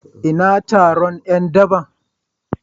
Ina taron ’yan daba?